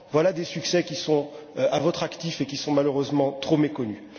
Voilà des succès qui sont à votre actif et qui sont malheureusement trop méconnus.